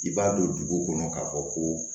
I b'a don dugu kɔnɔ k'a fɔ ko